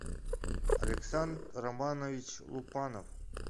александр романович лупанов